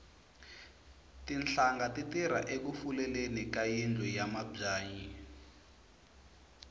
tinhlanga ti tirha eku fuleleni ka yindlu ya mabyanyi